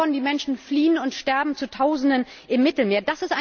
Die Folge davon Die Menschen fliehen und sterben zu Tausenden im Mittelmeer.